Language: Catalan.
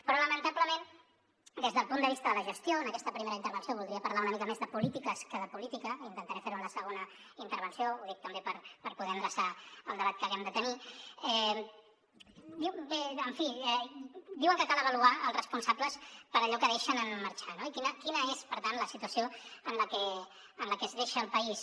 però lamentablement des del punt de vista de la gestió en aquesta primera intervenció voldria parlar una mica més de polítiques que de política intentaré fer ho en la segona intervenció ho dic també per poder endreçar el debat que haguem de tenir diuen que cal avaluar els responsables per allò que deixen en marxar no i quina és per tant la situació en la que es deixa el país